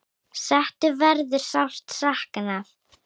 Settu verður sárt saknað.